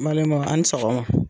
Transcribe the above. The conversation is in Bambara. N balimaw a ni sɔgɔma.